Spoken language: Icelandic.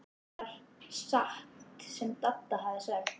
Það var satt sem Dadda hafði sagt.